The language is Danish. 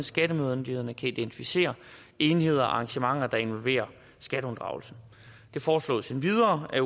skattemyndighederne kan identificere enheder og arrangementer der involverer skatteunddragelse det foreslås endvidere at